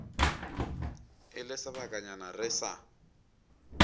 e le sebakanyana re sa